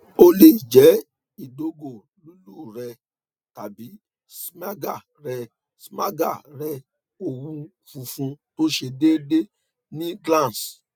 o le jẹ idogo lulú rẹ tabi smegma rẹ smegma rẹ owun funfun to se deede ni glans